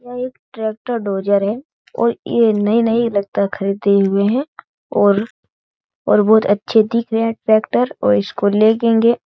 यह एक tractor dozer है और ये नई-नई लगता है खरीदे हुए हैं और और बहुत अच्छे दिख रहे हैं ट्रैक्टर और इसको ले--